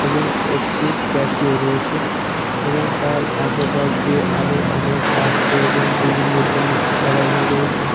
এবং একটি ক্যাসিও রয়েছে এবং তার আশেপাশ দিয়ে আরো অনেক বাক্স এবং বিভিন্ন জিনিস ছাড়ানো রয়েছে।